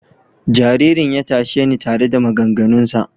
Jaririn ya tashe ni tare da maganganunsa.